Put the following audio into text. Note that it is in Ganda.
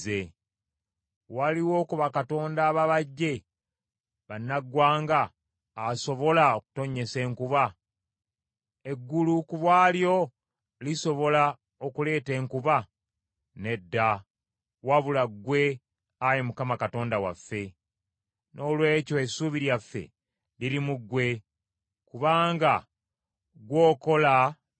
Waliwo ku bakatonda ababajje bannaggwanga asobola okutonnyesa enkuba? Eggulu ku bw’alyo lisobola okuleeta enkuba? Nedda, wabula ggwe, Ayi Mukama Katonda waffe. Noolwekyo essuubi lyaffe liri mu ggwe, kubanga ggwe okola bino byonna.